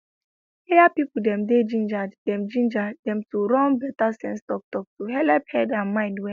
area people dem dey ginger dem ginger dem to run better sense talktalk to helep head and mind well